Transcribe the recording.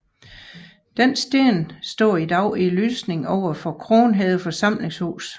Denne sten står i dag i lysningen overfor Kronhede forsamlingshus